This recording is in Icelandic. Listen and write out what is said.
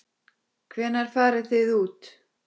Hvenær farið þið út?